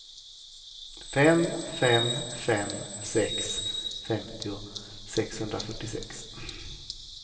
fem fem fem sex femtio sexhundrafyrtiosex